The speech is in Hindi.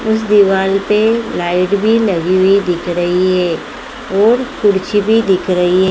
उस दिवाल पे लाइट भी लगी हुई दिख रही है और कुर्सी भी दिख रही है।